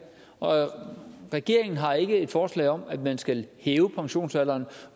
og regeringen har ikke et forslag om at man skal hæve pensionsalderen